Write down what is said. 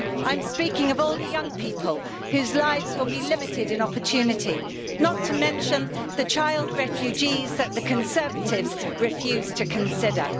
I'm speaking of all the young people whose lives will be limited in opportunity, not to mention the child refugees that the Conservatives refused to consider.